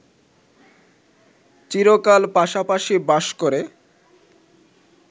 চিরকাল পাশাপাশি বাস করে